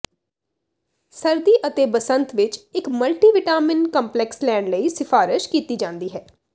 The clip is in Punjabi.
ਸਰਦੀ ਅਤੇ ਬਸੰਤ ਵਿਚ ਇਕ ਮਲਟੀਿਵਟਾਿਮਨ ਕੰਪਲੈਕਸ ਲੈਣ ਲਈ ਸਿਫਾਰਸ਼ ਕੀਤੀ ਜਾਦੀ ਹੈ